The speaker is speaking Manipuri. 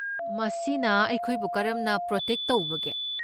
ꯃꯁꯤꯅ ꯑꯩꯈꯣꯏꯕꯨ ꯀꯔꯝꯅ ꯄ꯭ꯔꯣꯇꯦꯛ ꯇꯧꯕꯒꯦ꯫